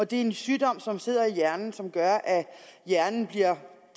det er en sygdom som sidder i hjernen og som gør at hjernen bliver